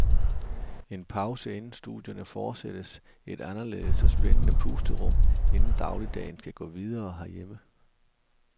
En pause inden studierne fortsættes, et anderledes og spændende pusterum, inden dagligdagen skal gå videre herhjemme.